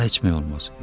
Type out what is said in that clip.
Mənə içmək olmaz.